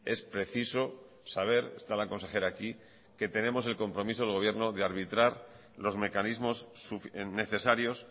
es preciso saber está la consejera aquí que tenemos el compromiso del gobierno de arbitrar los mecanismos necesarios